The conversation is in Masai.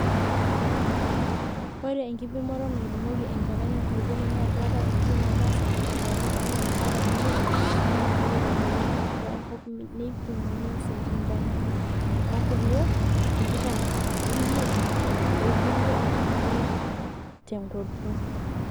Ore enkipimoto naipimoki enchalan enkulupuoni naa keetae enchuma naa sentimitani oong'wan mpaka imiet naa ninye eitadoikini atua enkop neipimuni isentimitani imiet, o nkulie tikitam omiet okulie artam omiet tenguton.